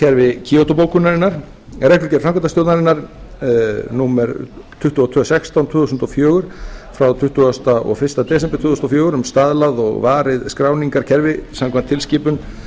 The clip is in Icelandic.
verkefniskerfi kýótóbókunarinnar reglugerð framkvæmdastjórnarinnar númer tvö þúsund tvö hundruð og sextán tvö þúsund og fjögur frá tuttugasta og fyrsta desember tvö þúsund og fjögur um staðlað og varið skráningarkerfi samkvæmt tilskipun